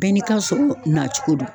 Bɛɛ n'i ka sɔrɔ nacogo don.